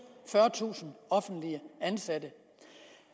fyrretusind offentligt ansatte